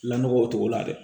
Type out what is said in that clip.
Lanɔgɔ o togo la dɛ